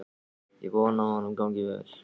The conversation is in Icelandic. Ég vona að honum gangi vel.